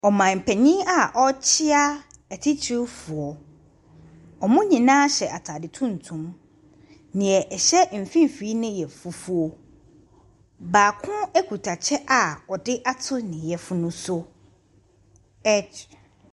Ɔmampanin a ɔrekyia etitirifoɔ, wɔn nyinaa hyɛ ataade tuntum. Deɛ ɛhyɛ mfimfin ne yɛ fufuo. Baako kita kyɛ a ɔde ato ne yefun so, ɛ .